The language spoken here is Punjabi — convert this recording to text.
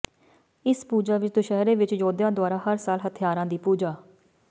ਇਸ ਪੂਜਾ ਵਿਚ ਦੁਸਹਿਰੇ ਵਿਚ ਯੋਧਿਆਂ ਦੁਆਰਾ ਹਰ ਸਾਲ ਹਥਿਆਰਾਂ ਦੀ ਪੂਜਾ